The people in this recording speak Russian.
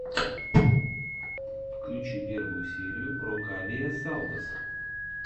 включи первую серию рокавиэсалдос